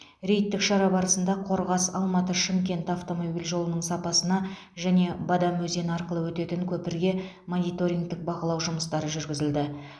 рейдтік шара барысында қорғас алматы шымкент автомобиль жолының сапасына және бадам өзені арқылы өтетін көпірге мониторингтік бақылау жұмыстары жүргізілді